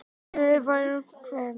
Silfurreynir færir út kvíarnar